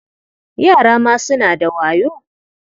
Yara ma suna da wayo.